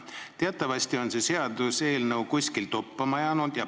Teatavasti on see seaduseelnõu kuhugi toppama jäänud.